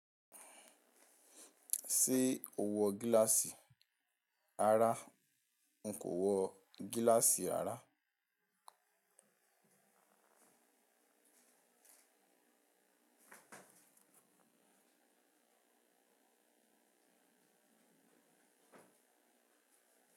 Ṣé o wọ gíláàsì rara? N kò wọ gíláàsì ara.